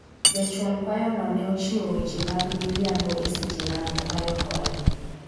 jachwal kwayo no ne ochiwo weche mag miriambo eseche mag kwayo hola